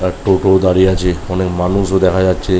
আর টোটোও দাঁড়িয়ে আছে অনেক মানুষ দেখা যাচ্ছে।